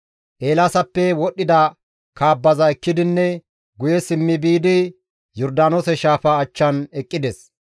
Eelaasappe wodhdhida kaabbaza ekkidinne guye simmi biidi Yordaanoose shaafa achchan eqqides.